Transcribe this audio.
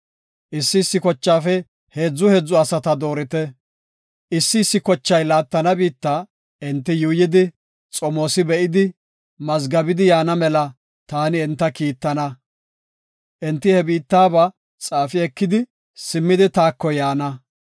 Issi issi kochaafe heedzu heedzu asata doorite. Issi issi kochay laattana biitta enti yuuyidi, xomoosi be7idi, mazgabidi yaana mela ta enta kiittana. Enti he biittaba xaafi ekidi, simmidi taako yaana.